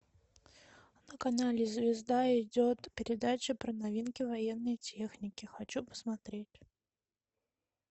на канале звезда идет передача про новинки военной техники хочу посмотреть